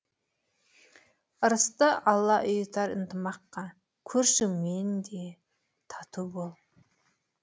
ырысты алла ұйытар ынтымаққа көршіңмен де тату бол